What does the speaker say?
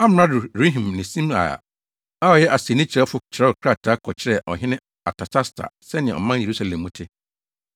Amrado Rehum ne Simsai a ɔyɛ asennii kyerɛwfo kyerɛw krataa kɔkyerɛɛ ɔhene Artasasta sɛnea ɔman Yerusalem mu te.